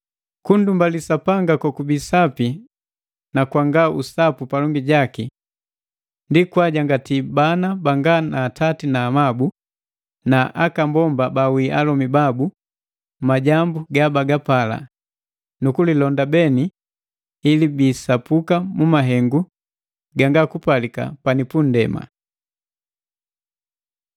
Kundumbali Sapanga kokubii sapi na kwanga usapu palongi jaki: Kwajangati bana banga na atati na amabu na aka mbomba baawii alomi bandu majambu ga bagapala, na kulilonda beni ili bisapuka mu mahengu ganga kupalika pani pu nndema.